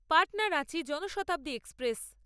Patna Ranchi Janshatabdi express